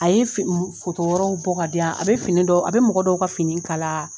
A ye fi foto wɛrɛw bɔ ka di yan a bɛ fini dɔw a be mɔgɔ dɔw ka fini kala